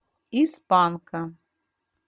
из панка